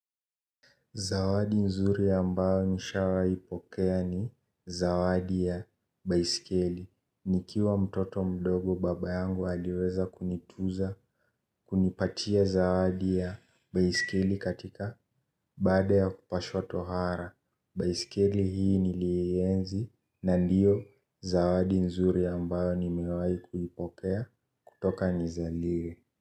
Zawadi nzuri ya ambayo nishawaipokea ni zawadi ya baisikeli. Nikiwa mtoto mdogo baba yangu aliweza kunituza kunipatia zawadi ya baisikeli katika baada ya kupashwa tohara. Baisikeli hii nilieenzi na ndiyo zawadi nzuri ambayo nimewai kuipokea kutoka nizaliwe.